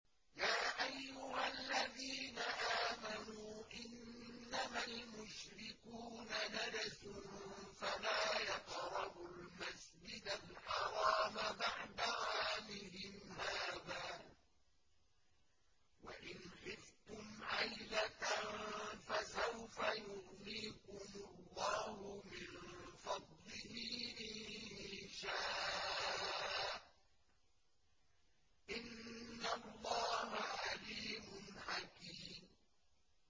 يَا أَيُّهَا الَّذِينَ آمَنُوا إِنَّمَا الْمُشْرِكُونَ نَجَسٌ فَلَا يَقْرَبُوا الْمَسْجِدَ الْحَرَامَ بَعْدَ عَامِهِمْ هَٰذَا ۚ وَإِنْ خِفْتُمْ عَيْلَةً فَسَوْفَ يُغْنِيكُمُ اللَّهُ مِن فَضْلِهِ إِن شَاءَ ۚ إِنَّ اللَّهَ عَلِيمٌ حَكِيمٌ